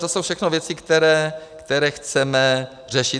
To jsou všechno věci, které chceme řešit.